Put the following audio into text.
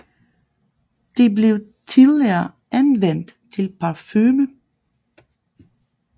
Det blev tidligere anvendt til parfume